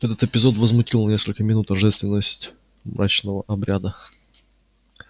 этот эпизод возмутил на несколько минут торжественность мрачного обряда